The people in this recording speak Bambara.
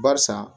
Barisa